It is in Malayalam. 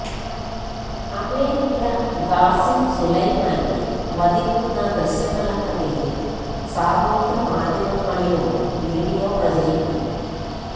അമേരിക്ക ഖാസിം സുലൈമാനിയെ വധിക്കുന്ന ദൃശ്യങ്ങളെന്ന പേരില് സാമൂഹ്യമാധ്യമങ്ങളിലൂടെ വീഡിയോ പ്രചരിക്കുന്നു